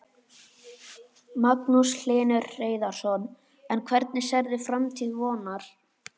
Magnús Hlynur Hreiðarsson: En hvernig sérðu framtíð Vonar?